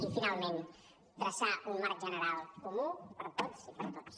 i finalment traçar un marc general comú per tots i per a tots